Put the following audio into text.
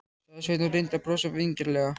sagði Sveinn og reyndi að brosa vingjarnlega.